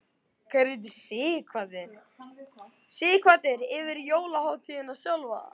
Sighvatur: Yfir jólahátíðina sjálfa?